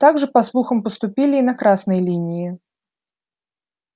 так же по слухам поступили и на красной линии